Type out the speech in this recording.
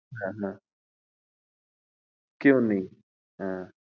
হ্যাঁ হ্যাঁ কেউ নেই হ্যাঁ।